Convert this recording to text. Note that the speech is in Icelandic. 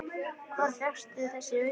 Hvar fékkstu þessi augu?